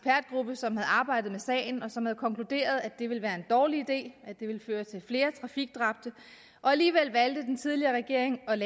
som havde arbejdet med sagen og som havde konkluderet at det ville være en dårlig idé at det ville føre til flere trafikdræbte alligevel valgte den tidligere regering at